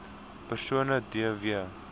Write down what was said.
persone d w